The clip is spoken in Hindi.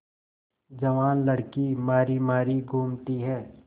जवान लड़की मारी मारी घूमती है